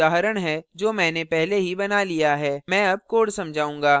मैं अब code समझाऊंगा